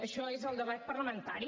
això és el debat parlamentari